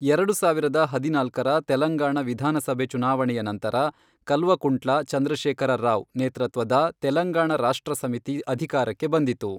ಎರಡು ಸಾವಿರದ ಹದಿನಾಲ್ಕರ ತೆಲಂಗಾಣ ವಿಧಾನಸಭೆ ಚುನಾವಣೆಯ ನಂತರ, ಕಲ್ವಕುಂಟ್ಲ ಚಂದ್ರಶೇಖರ ರಾವ್ ನೇತೃತ್ವದ ತೆಲಂಗಾಣ ರಾಷ್ಟ್ರ ಸಮಿತಿ ಅಧಿಕಾರಕ್ಕೆ ಬಂದಿತು.